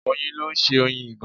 Oyin ló ń ṣe Oyin ìgàn.